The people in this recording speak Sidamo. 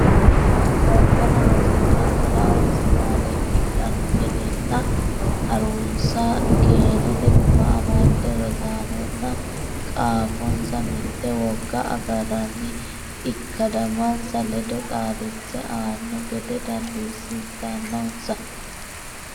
Qolteno rosiisaano laonsa maareekkidhanno gedenna ha runsi keenote guma amadde rosaanonna qaafonsa mitte wogga agarranni ikkadimmansa ledo xaadisse anno gede dandiissitannonsa.